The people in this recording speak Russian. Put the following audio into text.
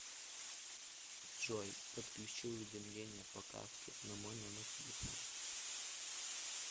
джой подключи уведомления по карте на мой номер телефона